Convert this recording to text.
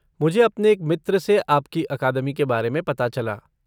मुझे अपने एक मित्र से आपकी अकादमी के बारे में पता चला।